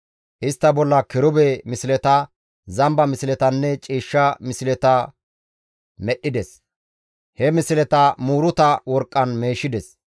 Istta bolla kirube misleta, zamba misletanne ciishsha misleta medhdhides; he misleta muuruta worqqan meeshides.